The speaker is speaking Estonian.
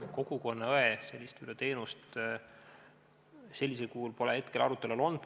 Kogukonnaõe teenust sellisel kujul pole küll veel arutelu all olnud.